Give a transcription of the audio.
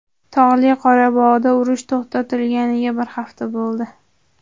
Tog‘li Qorabog‘da urush to‘xtatilganiga bir hafta bo‘ldi.